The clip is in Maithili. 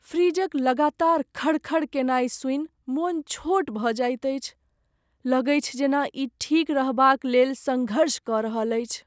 फ्रिजक लगातार खड़ खड़ केनाइ सुनि मोन छोट भऽ जाइत अछि, लगैछ जेना ई ठीक रहबाक लेल सङ्घर्ष कऽ रहल अछि।